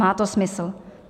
Má to smysl.